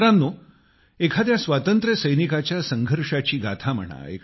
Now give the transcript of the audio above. मित्रांनो एखाद्या स्वातंत्र्यसैनिकाच्या संघर्षाची गाथा म्हणा